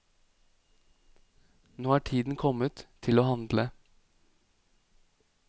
Nå er tiden kommet til å handle.